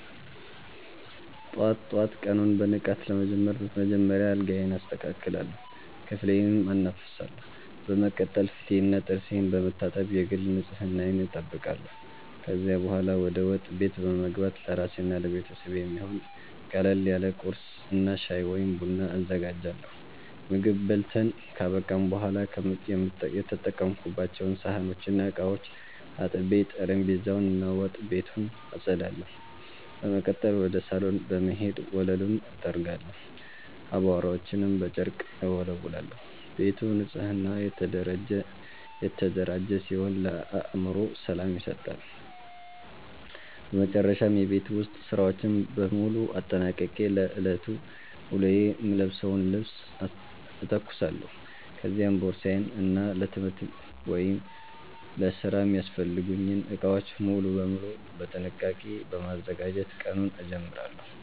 ጠዋት ጠዋት ቀኑን በንቃት ለመጀመር በመጀመሪያ አልጋዬን አስተካክላለሁ፣ ክፍሌንም አናፍሳለሁ። በመቀጠል ፊቴንና ጥርሴን በመታጠብ የግል ንጽህናዬን እጠብቃለሁ። ከዚያ በኋላ ወደ ወጥ ቤት በመግባት ለራሴና ለቤተሰቤ የሚሆን ቀለል ያለ ቁርስ እና ሻይ ወይም ቡና አዘጋጃለሁ። ምግብ በልተን ካበቃን በኋላ የተጠቀሙባቸውን ሳህኖችና ዕቃዎች አጥቤ፣ ጠረጴዛውን እና ወጥ ቤቱን አጸዳለሁ። በመቀጠል ወደ ሳሎን በመሄድ ወለሉን እጠርጋለሁ፣ አቧራዎችንም በጨርቅ እወለውላለሁ። ቤቱ ንጹህና የተደራጀ ሲሆን ለአእምሮ ሰላም ይሰጣል። በመጨረሻም የቤት ውስጥ ሥራዎችን በሙሉ አጠናቅቄ ለዕለቱ ውሎዬ የምለብሰውን ልብስ እተኩሳለሁ፤ ከዚያም ቦርሳዬን እና ለትምህርት ወይም ለሥራ የሚያስፈልጉኝን ዕቃዎች በሙሉ በጥንቃቄ በማዘጋጀት ቀኑን እጀምራለሁ።